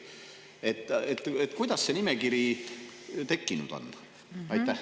Kuidas see nimekiri tekkinud on?